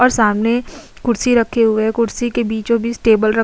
और सामने कुर्सी रखे हुए है। कुर्सी के बीचो बीच टेबल रख --